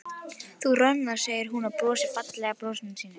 Þú roðnar, segir hún og brosir fallega brosinu sínu.